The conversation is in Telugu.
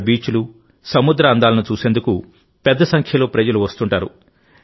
అక్కడి బీచ్లు సముద్ర అందాలను చూసేందుకు పెద్ద సంఖ్యలో ప్రజలు వస్తుంటారు